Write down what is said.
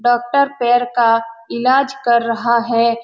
Doctor पैर का इलाज कर रहा है।